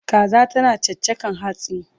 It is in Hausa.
Kaza tana chachakan hatsi